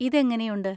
ഇത് എങ്ങനെയുണ്ട്?